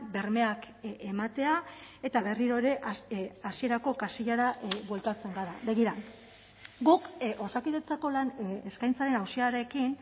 bermeak ematea eta berriro ere hasierako kasillara bueltatzen gara begira guk osakidetzako lan eskaintzaren auziarekin